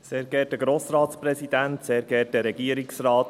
Ich hoffe, diesmal hören Sie mich.